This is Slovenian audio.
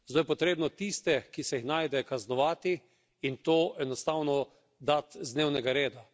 Zdaj je treba tiste, ki se jih najde, kaznovati in to enostavno dati z dnevnega reda.